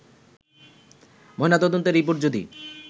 ময়না তদন্তের রিপোর্টে যদি